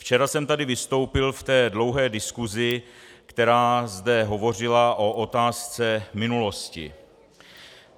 Včera jsem tady vystoupil v té dlouhé diskusi, která zde hovořila o otázce minulosti.